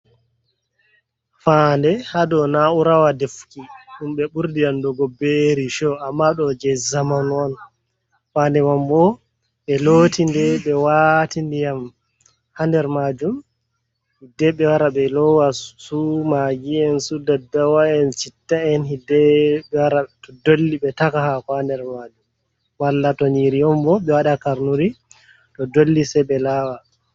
fayannde haa do na´urawa defuki, ɗum be ɓurdi andugo be rico, amma ɗo jey zamanu on. Fayannde man bo ɓe looti nde, ɓe waati ndiyam haa nder maajum. Hidde ɓe wara ɓe loowa su maagi'en, su daddawa’en, citta’en, hiddeeko ɓe wara to dolli ɓe kaɗa haako haa nder maajum, malla to nyiiri on bo ɓe wada karnuri to dolli say ɓe laawa.